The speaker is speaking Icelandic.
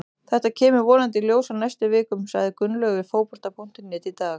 Þetta kemur vonandi í ljós á næstu vikum, sagði Gunnlaugur við Fótbolta.net í dag.